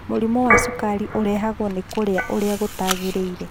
Mũrimũ wa sukari ũrehagwo nĩ kũrĩa ũrĩa gũtaagĩrĩire